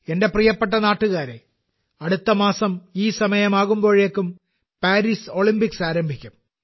എന്റെ പ്രിയപ്പെട്ട നാട്ടുകാരേ അടുത്ത മാസം ഈ സമയമാകുമ്പോഴേക്കും പാരീസ് ഒളിമ്പിക്സ് ആരംഭിക്കും